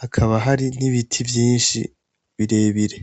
hakaba hari n'ibiti vyinshi birebire.